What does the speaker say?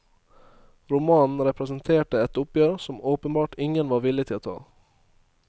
Romanen representerte et oppgjør som åpenbart ingen var villig til å ta.